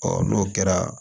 n'o kɛra